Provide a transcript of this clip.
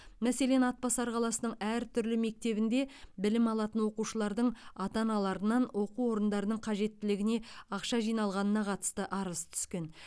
мәселен атбасар қаласының әртүрлі мектебінде білім алатын оқушылардың ата аналарынан оқу орындарының қажеттілігіне ақша жиналғанына қатысты арыз түскен